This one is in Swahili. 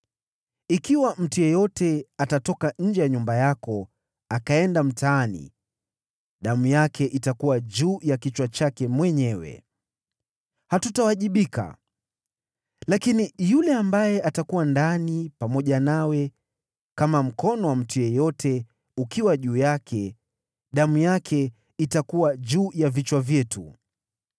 Ikiwa mtu yeyote atatoka nje ya nyumba yako akaenda mtaani, damu yake itakuwa juu ya kichwa chake mwenyewe, hatutawajibika. Lakini yule ambaye atakuwa ndani pamoja nawe, kama mkono wa mtu yeyote ukiwa juu yake damu yake itakuwa juu ya vichwa vyetu.